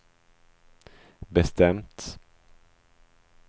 bestämt